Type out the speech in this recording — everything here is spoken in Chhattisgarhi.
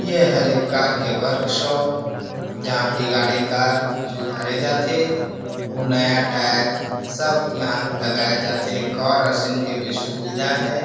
इ हरे कार के वर्क शॉप जहान बिगाड़े कार सुधारे जाथ है ऊ नया टायर सब इहा लगये जाथ है कार वाशिंग के भी सुविधा है।